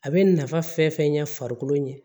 A bɛ nafa fɛn fɛn ɲɛ farikolo ɲɛ